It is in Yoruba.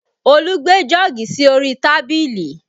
Olu gbé jọ́ọ̀gì sí orí tábìlì